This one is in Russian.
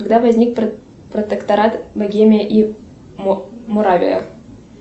когда возник протекторат богемия и моравия